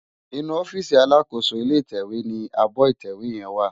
Inú òfisí àlákósó ilé itèwé ni ábò itèwé yèn wá